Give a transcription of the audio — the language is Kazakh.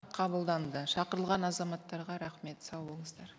қабылданды шақырылған азаматтарға рахмет сау болыңыздар